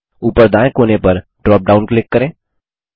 ऊपर दायें कोने पर ड्रॉप डाउन क्लिक करें